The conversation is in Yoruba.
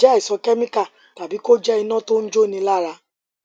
ó lè jẹ àìsàn kẹmíkà tàbí kó jẹ iná tó jóni lára